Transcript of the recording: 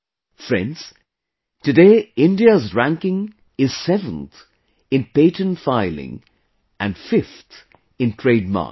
Friends, Today India's ranking is 7th in Patent Filing and 5th in Trademarks